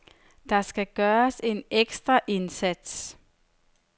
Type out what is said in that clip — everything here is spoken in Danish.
Der skal gøres en ekstra indsats.